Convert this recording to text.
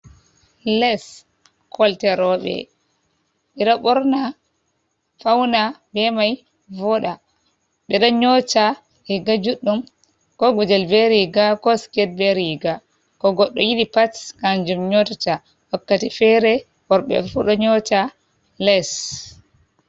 Les kolte rooɓe ɓe ɗo ɓorna fauna be mai vooɗa ɓe ɗo nyota riiga juɗɗum ko gudel be riiga ko sket be riiga ko goɗɗo yiɗi pat kanjum nyotata wakkati fere worɓe fu ɗo nyota les.